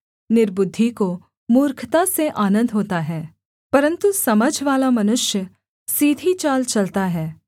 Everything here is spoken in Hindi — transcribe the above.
निर्बुद्धि को मूर्खता से आनन्द होता है परन्तु समझवाला मनुष्य सीधी चाल चलता है